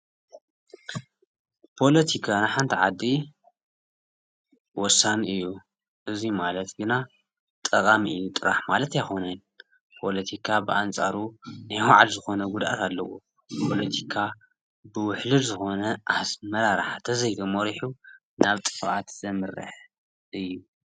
ፖሎቲካ ሓንቲ ዓዲ ወሳኒ እዩ። እዚ ማለት ግና ጠቃሚ እዩ ጥራሕ ማለት ኣይኮነን። ፖለቲካ ብኣንፃሩ ናይ ባዕሉ ዝኮነ ጉድኣት ኣለዎ ።ፖለቲካ ብውሕሉል ዝኮነ ኣመራርሓ እንተዘይ ተመሪሑ ናብ ጥፍኣት ዘምረሕ እዩ።